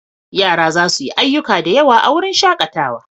Yara za su yi ayyuka da yawa a wurin shakatawa.